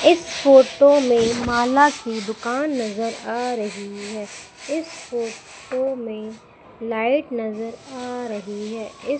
इस फोटो में माला की दुकान नजर आ रही है इस फोटो में लाइट नजर आ रही है। इस--